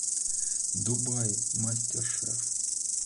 дубаи мастер шеф